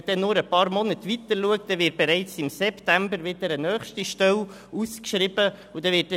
Wenn man nur ein paar Monate nach vorne schaut, wird bereits im September wieder eine nächste Stelle ausgeschrieben werden.